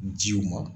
Jiw ma